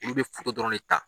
Ulu bɛ dɔrɔn ne ta.